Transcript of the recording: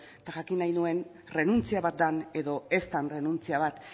eta jakin nahi nuen errenuntzia bat den edo ez den errenuntzia bat